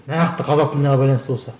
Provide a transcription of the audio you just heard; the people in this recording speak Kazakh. нақты қазақ тіліне байланысты болса